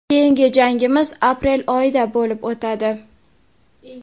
Keyingi jangimiz aprel oyida bo‘lib o‘tadi.